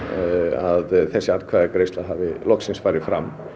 að þessi atkvæðagreiðsla hafi loksins farið fram